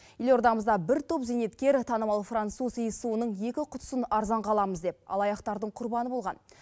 елордамызда бір топ зейнеткер танымал француз иіссуының екі құтысын арзанға аламыз деп алаяқтардың құрбаны болған